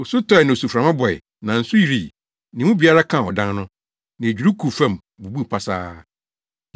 Osu tɔe, na osuframa bɔe, na nsu yirii, na emu biara kaa ɔdan no. Na edwiriw guu fam, bubuu pasaa.”